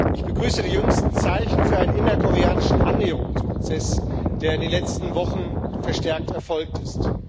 Ich begrüße die jüngsten Zeichen für einen innerkoreanischen Annäherungsprozess, der in den letzten Wochen verstärkt erfolgt ist.